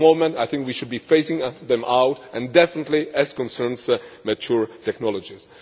But at the moment I think we should be phasing them out, and definitely with regard to mature technologies.